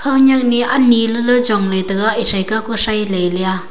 anyak ni lele chongla taga esai kao sai le a.